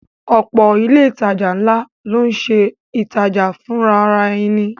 Ọ̀pọ̀ ilé ìtajà ńlá ló ń ṣe ìtajà fùnrarẹni